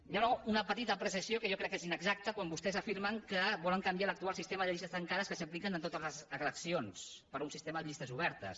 hi ha una petita apreciació que jo crec que és inexacta quan vostès afirmen que volen canviar l’actual sistema de llistes tancades que s’aplica a totes les eleccions per un sistema de llistes obertes